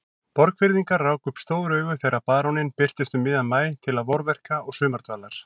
Borgfirðingar ráku upp stór augu þegar baróninn birtist um miðjan maí til vorverka og sumardvalar.